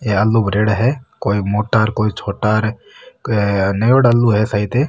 आलू भरेड़ा है कोई मोटा कोई छोटा न्यूडा आलू है शायद।